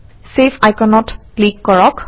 save আইকনত click কৰক